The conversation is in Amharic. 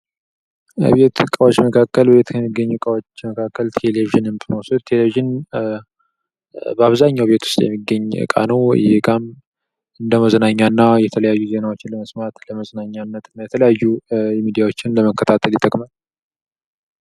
የቤት ዕቃዎች መካከል ቤት ከሚገኙ እቃዎች መካከል ቴሌቪዥን ብንወስድ ቴሌቭዥን በአብዛኛው ቤት ውስጥ የሚገኝ እቃ ነው ይህ እቃም እንደ መዝናኛና የተለያዩ ዜናዎችን ለመስማት ለመዝናኛነት የተለያዩ ሚዲያዎችን ለመከታተል ይጠቅማ::